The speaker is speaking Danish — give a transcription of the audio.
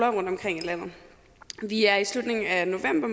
rundtomkring i landet vi er i slutningen af november